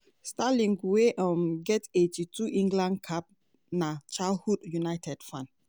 sterling wey um get eighty-two england caps na childhood united fan